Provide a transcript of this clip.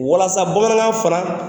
Walasa bamanankan fana